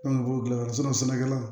An ka mɔgɔw dilan yɔrɔ sɛnɛkɛla